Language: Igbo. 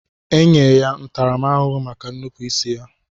Enye ya ntarama ahuhu maka nnupu isi ya.